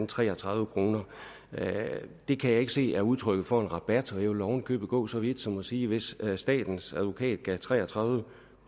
tre og tredive kroner det kan jeg ikke se er udtryk for en rabat og jeg vil oven i købet gå så vidt som at sige at hvis statens advokat gav tre og tredive